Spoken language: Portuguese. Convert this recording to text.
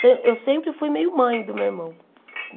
Então eu sempre fui meio mãe do meu irmão.